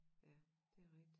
Ja det rigtigt